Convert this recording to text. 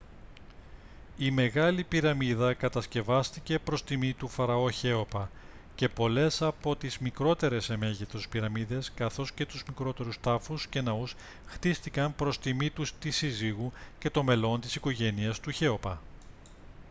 η μεγάλη πυραμίδα κατασκευάστηκε προς τιμή του φαραώ χέοπα και πολλές από τις μικρότερες σε μέγεθος πυραμίδες καθώς και τους μικρότερους τάφους και ναούς χτίστηκαν προς τιμή της συζύγου και των μελών της οικογένειας του χέοπα